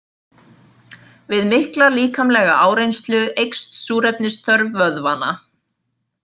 Við mikla líkamlega áreynslu eykst súrefnisþörf vöðvanna.